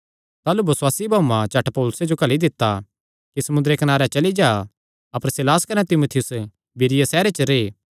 ताह़लू बसुआसी भाऊआं झट पौलुसे जो घल्ली दित्ता कि समुंदरे कनारे चली जां अपर सीलास कने तीमुथियुस बिरीया सैहरे च रैह्